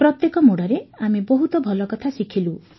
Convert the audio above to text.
ପ୍ରତ୍ୟେକ ମୋଡ଼ରେ ଆମେ ବହୁତ ଭଲକଥା ଶିଖିଲୁ